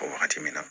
Wagati min na